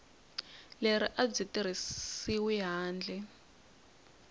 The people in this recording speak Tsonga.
leri a byi tirhisiwi handle